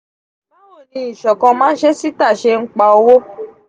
bawo ni isokan mansesita ṣe npa owo?